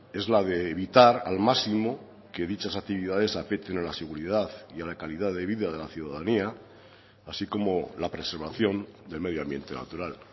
es la de evitar al máximo que dichas actividades afecten a la seguridad y a la calidad de vida de la ciudadanía así como la preservación del medio ambiente natural